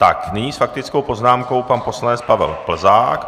Tak nyní s faktickou poznámkou pan poslanec Pavel Plzák.